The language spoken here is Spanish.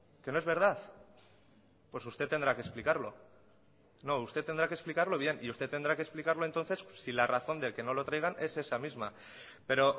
que no es verdad pues usted tendrá que explicarlo no usted tendrá que explicarlo bien y usted tendrá que explicarlo entonces si la razón del que no lo traigan es esa misma pero